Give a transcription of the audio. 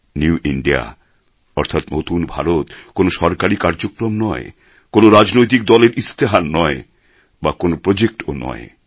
new India অর্থাৎ নতুন ভারত কোনো সরকারী কার্যক্রম নয় কোনও রাজনৈতিক দলের ইস্তেহার নয় বা কোনও প্রজেক্ট ও নয়